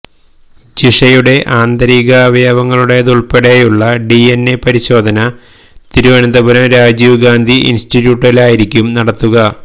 ജിഷയുടെ ആന്തരികാവയവങ്ങളുടേതുൾപ്പെടെയുള്ള ഡിഎൻഎ പരിശോധന തിരുവനന്തപുരം രാജീവ് ഗാന്ധി ഇൻസ്റ്റിറ്റ്യൂട്ടിലായിരിക്കും നടത്തുക